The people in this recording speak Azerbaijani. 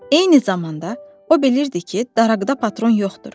Eyni zamanda o bilirdi ki, daraqda patron yoxdur.